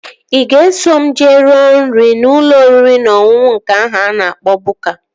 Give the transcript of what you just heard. Ị ga-eso m jee rue nri n'ụlọ oriri na ọṅụṅụ nke ahụ a na-akpọ Bukka?